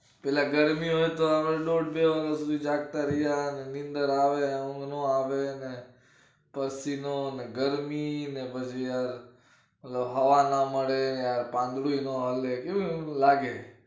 પેલા ગરમી હોય તો આવે દોઢ બે વાગ્યા સુધી જાગતા રઈએ અને નીંદર આવે ઊંઘ ના આવે ને, પશીનો ને ગરમી ને બધું હવા ના મલે પાદડુયે ના હલે બધું કેવું લાગે.